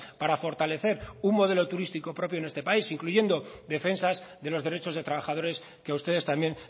para fortalecer un modelo turístico propio en este país incluyendo defensas de los derechos de trabajadores que a ustedes también